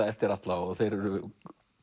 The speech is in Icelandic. eftir Atla og þeir eru